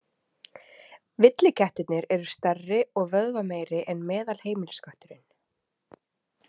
Villikettirnir eru stærri og vöðvameiri en meðalheimiliskötturinn.